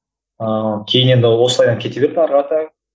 ыыы кейін енді осылай кете берді ары қарата